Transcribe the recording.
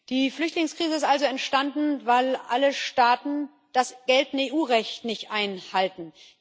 Die Flüchtlingskrise ist also entstanden, weil alle Staaten das geltende EU Recht nicht einhalten.